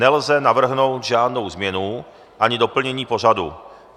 Nelze navrhnout žádnou změnu ani doplnění pořadu.